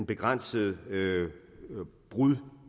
begrænset brud